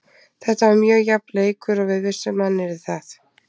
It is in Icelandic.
Þetta var mjög jafn leikur, við vissum að hann yrði það.